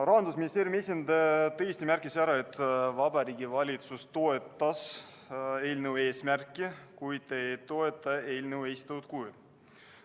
Rahandusministeeriumi esindaja tõesti märkis, et Vabariigi Valitsus toetas eelnõu eesmärki, kuid ei toetanud eelnõu esitatud kujul.